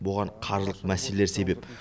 бұған қаржылық мәселелер себеп